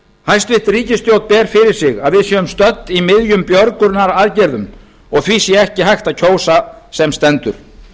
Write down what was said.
hæstvirt ríkisstjórn ber fyrir sig að við séum stödd í miðjum björgunaraðgerðum og því sé ekki hægt að ganga til kosninga sem stendur